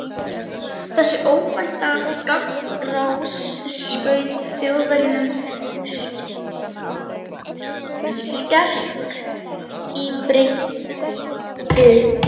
Þessi óvænta gagnárás skaut Þjóðverjunum skelk í bringu.